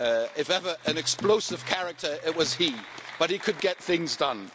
If ever there was an explosive character, it was he, but he could get things done.